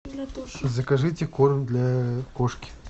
закажите корм для кошки